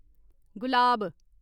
गुलाब